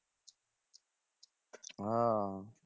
ও